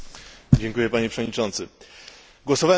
Głosowałem przeciwko sprawozdaniu posła Audy'ego.